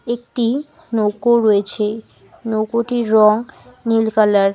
একটি নৌকো রয়েছে নৌকোটির রং নীল কালার ।